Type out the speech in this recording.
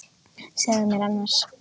Segðu mér annars.